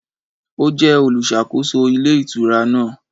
Ó jẹ́ olùsàkóso Ilé Ìtura náà